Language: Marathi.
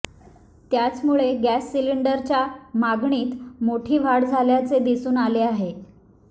त्याचमुळे गॅस सिलिंडरच्या मागणीत मोठी वाढ झाल्याचे दिसून आले आहे